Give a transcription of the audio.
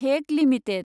Hague limited